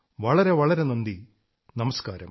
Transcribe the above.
വളരെ വളരെ നന്ദി നമസ്കാരം